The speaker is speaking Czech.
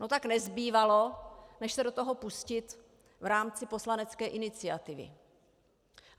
No tak nezbývalo než se do toho pustit v rámci poslanecké iniciativy.